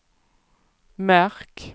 märk